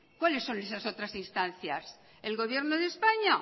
cuáles son esas otras instancias el gobierno de españa